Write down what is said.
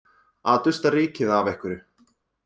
Að dusta rykið af einhverju